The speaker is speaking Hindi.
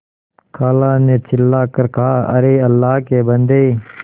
खाला ने चिल्ला कर कहाअरे अल्लाह के बन्दे